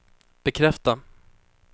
bekräfta